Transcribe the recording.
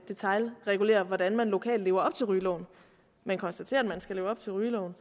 detailregulerer hvordan man lokalt lever op til rygeloven men konstaterer at man skal leve op til rygeloven